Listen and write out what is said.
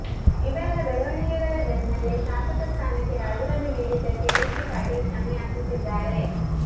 ಇವೆಲ್ಲಾ ಬೆಳವಣಿಗೆಗಳ ಬೆನ್ನಲ್ಲೇ ಶಾಸಕ ಸ್ಥಾನಕ್ಕೆ ರಾಜೀನಾಮೆ ನೀಡಿದ್ದಕ್ಕೆ ಬಿಸಿ ಪಾಟೀಲ್ ಕ್ಷಮೆಯಾಚಿಸಿದ್ದಾರೆ